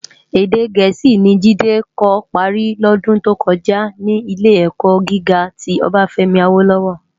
Èdè Gẹẹsi ni Jide kò pári lòdún tó kòjá ni Ilé-èkò gigá ti Obafemi Awolowo.